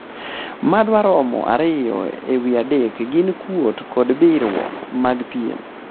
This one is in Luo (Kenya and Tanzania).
madwaromo ariyo e wii adek gin kuot kod biwruok mag pien